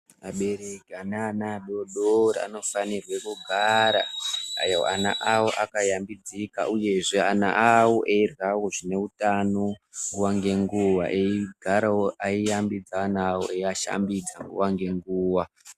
Abereki ane ana adodori anofanirwa kugara ana awo akashambidzika uyezve ana awo eiryawo zvine utano nguwa nenguwa eigarawo eyiashambidza ana avo eyivashambidza nguwa nenguwa.